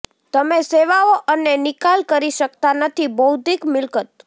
તમે સેવાઓ અને નિકાલ કરી શકતા નથી બૌદ્ધિક મિલકત